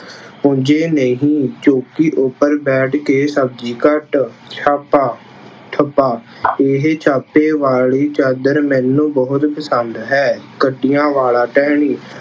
ਪੁੰਝੇ ਨਹੀਂ, ਚੋਂਕੀ ਉੱਪਰ ਬੈਠ ਕੇ ਸਬਜ਼ੀ ਕੱਟ। ਛਾਪਾ- ਠੱਪਾ- ਇਹ ਛਾਪੇ ਵਾਲੀ ਚਾਦਰ ਮੈਨੂੰ ਬਹੁਤ ਪਸੰਦ ਹੈ। ਕੰਢਿਆ ਵਾਲਾ ਟਹਿਣੀ-